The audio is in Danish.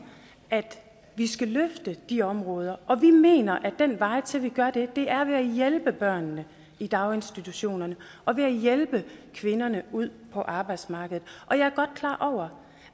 at vi skal løfte de områder og vi mener at vejen til at gøre det er ved at hjælpe børnene i daginstitutionerne og ved at hjælpe kvinderne ud på arbejdsmarkedet jeg er godt klar over